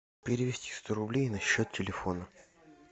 перевести сто рублей на счет телефона